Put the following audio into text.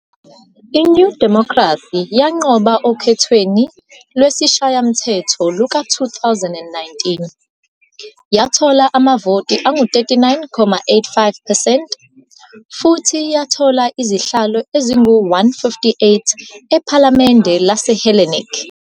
I-New Democracy yanqoba okhethweni lwesishayamthetho luka-2019, yathola amavoti angu-39.85 percent futhi yathola izihlalo ezingu-158 IPhalamende laseHellenic